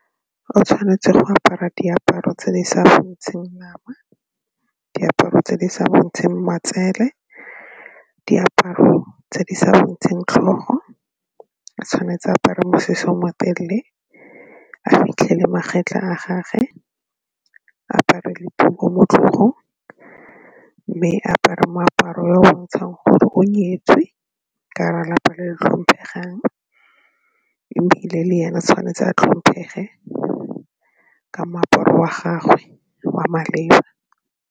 O tshwanetse go apara diaparo tse di sa bontsheng nama, diaparo tse di sa kgontsheng matsele, diaparo tse di sa bontsheng tlhogo, tshwanetse a apare mosese o motelele a fitlhe le magetla a gage, a apare le tuku mo tlhogong mme a apare moaparo o o bontshang gore o nyetswe ka gare ga lapa le tlhomphegang ebile le ena tshwanetse a tlhomphege ka moaparo wa gagwe wa maleba.